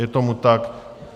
Je tomu tak.